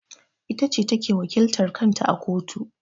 Ita ce ta ke wakiltar kan ta a kotu.